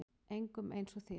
Engum eins og þér.